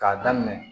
K'a daminɛ